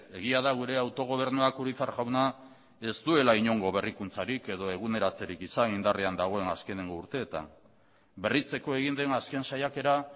egia da gure autogobernuak urizar jauna ez duela inongo berrikuntzarik edo eguneratzerik izan indarrean dagoen azkeneko urteetan berritzeko egin den azken saiakera